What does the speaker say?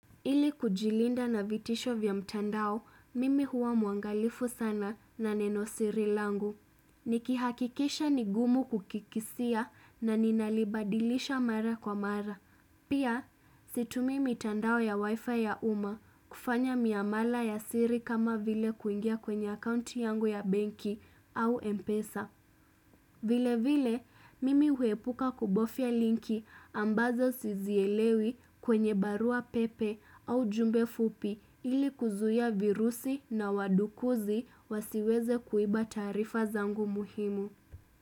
Ili kujilinda na vitisho vya mtandao, mimi huwa muangalifu sana na neno sirilangu. Nikihakikisha ni gumu kukikisia na ninalibadilisha mara kwa mara. Pia, situmii mitandao ya wifi ya uma kufanya miamala ya siri kama vile kuingia kwenye akounti yangu ya banki au mpesa. Vile vile, mimi huepuka kubofya linki ambazo sizielewi kwenye barua pepe au jumbe fupi ili kuzuia virusi na wadukuzi wasiweze kuiba taarifa zangu muhimu.